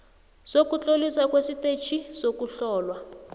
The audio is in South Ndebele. sokutloliswa kwestetjhi sokuhlolwa